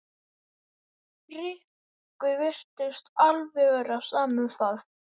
Rikku virtist vera alveg sama um það.